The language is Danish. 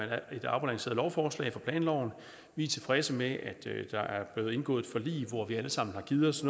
er et afbalanceret lovforslag af planloven vi er tilfredse med at der er blevet indgået et forlig hvor vi alle sammen har givet os